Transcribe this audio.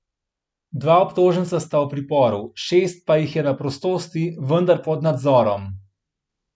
Dva obtoženca sta v priporu, šest pa jih je na prostosti, vendar pod nadzorom.